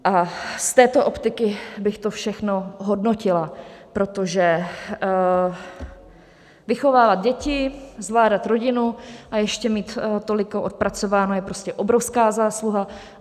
A z této optiky bych to všechno hodnotila, protože vychovávat děti, zvládat rodinu a ještě mít tolik odpracováno je prostě obrovská zásluha.